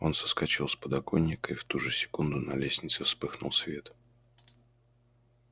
он соскочил с подоконника и в ту же секунду на лестнице вспыхнул свет